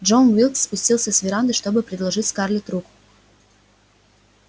джон уилкс спустился с веранды чтобы предложить скарлетт руку